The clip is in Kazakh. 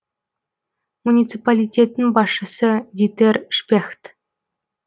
муниципалитеттің басшысы дитер шпехт